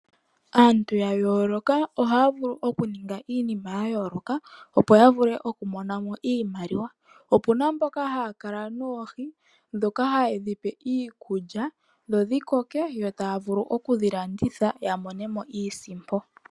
Aantu ya yooloka ohaya vulu okuninga iinima ya yooloka, opo ya vule okumona mo iimaliwa, opuna mboka haya kala noohi ndhoka ha yedhi pe iikulya dho dhikoke, yo taya vulu okudhi landitha ya mone mo iisimpo.